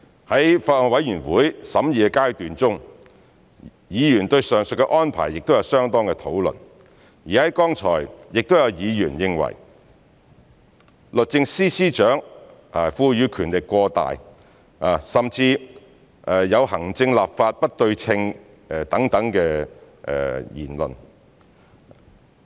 在法案委員會審議的階段中，議員對上述安排有相當的討論，剛才亦有議員認為律政司司長獲賦予權力過大，甚至有行政、立法不對稱等言論。